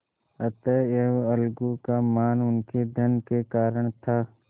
अतएव अलगू का मान उनके धन के कारण था